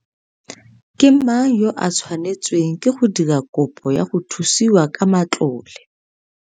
Ke mang yo a tshwanetsweng ke go dira kopo ya go thusiwa ka matlole?